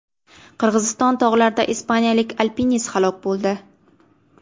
Qirg‘iziston tog‘larida ispaniyalik alpinist halok bo‘ldi.